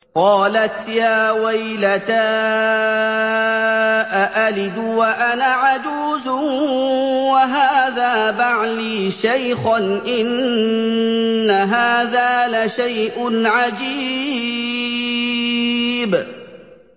قَالَتْ يَا وَيْلَتَىٰ أَأَلِدُ وَأَنَا عَجُوزٌ وَهَٰذَا بَعْلِي شَيْخًا ۖ إِنَّ هَٰذَا لَشَيْءٌ عَجِيبٌ